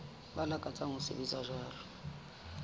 ba lakatsang ho sebetsa jwalo